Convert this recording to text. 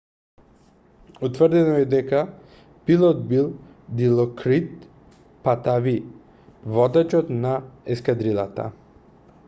утврдено е дека пилот бил дилокрит патави водачот на ескадрилата